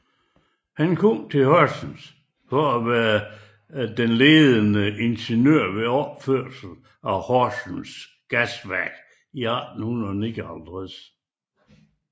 Han kom til Horsens for at være ledende ingeniør ved opførelsen af Horsens Gasværk i 1859